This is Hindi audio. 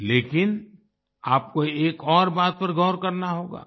लेकिन आपको एक और बात पर गौर करना होगा